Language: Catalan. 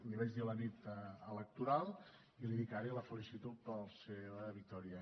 l’hi vaig dir la nit electoral i l’hi dic ara i la felicito per la seva victòria